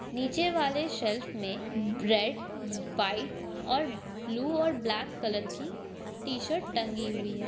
नीचे वाले शेल्फ में रेड वाइट और ब्लू और ब्लैक कलर की टी शर्ट टंगी हुई हैं।